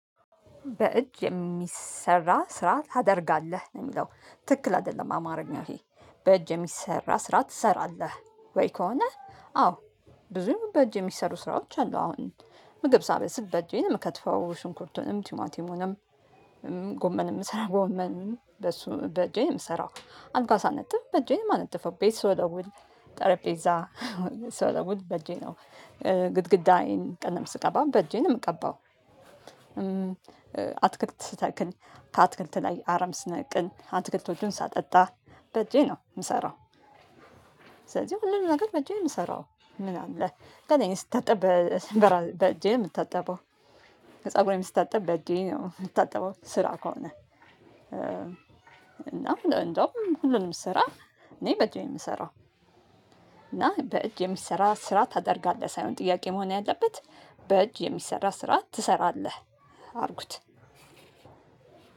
በእጅ የሚሰራ ስራ ታደርጋለህ ነው የሚለው ትክክል አይደለም አማርኛ ይሄ? በእጅ የሚሰራ ስራ ትሰራለህ ወይ ከሆነ አዎ ብዙም በእጅ የሚሰሩ ስራዎች አሉ አሁን ምግብ ሳበስል በእጄ ነው የምከትፈው ሽንኩርቱንም ቲማቲሙንም። ጎመን የምሰራው ጎመን በእሱ በእጄ የምሰራው። አልጋ ሳነጥፍ ነጥብ በእጄ የማነጥፈው ቤት ወደ ስወለውል ጠረጴዛ ስወለውል በእጄ ነው። ግድግዳዬን ቀለም ስቀባም በእጄ ነው የምቀባው። አትክልት ስተክል ከአትክልት ላይ አረም ስነቅል አትክልቶቹን ሳጠጣ በእጄ ነው የምሰራው። ስለዚህ ሁሉንም ነገር በእጄ የምሰራው ምናምን ለምን ስታጠብ በእጄ የምታጠበው? ፀጉሬም ስታጠብ በእጄ ነው የምታጠበው። ስራ ከሆነ እና እንደውም ሁሉንም ስራ እኔ በእጄ የምሰራው። እና በእጅ የምሰራ ስራ ታደርጋለህ ሳይሆን ጥያቄ መሆን ያለበት። በእጅ የሚሰራ ስራ ትሰራለህ? አድርጉት